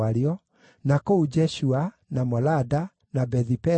na kũu Jeshua, na Molada, na Bethi-Peleti,